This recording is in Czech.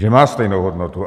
Že má stejnou hodnotu.